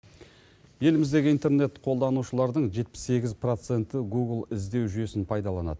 еліміздегі интернет қолданушылардың жетпіс сегіз проценті гугл іздеу жүйесін пайдаланады